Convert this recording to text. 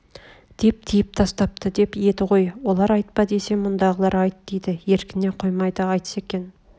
деп тыйып тастапты деп еді ғой олар айтпа десе мұндағылар айт дейді еркіне қоймайды айтса екен